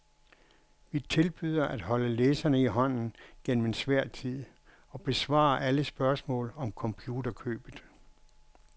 Vi tilbyder at holde læserne i hånden gennem en svær tid og besvare alle spørgsmål om computerkøbet.